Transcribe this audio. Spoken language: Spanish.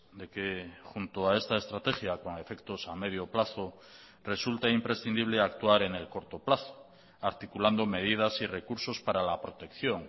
de que junto a esta estrategia con efectos a medio plazo resulta imprescindible actuar en el corto plazo articulando medidas y recursos para la protección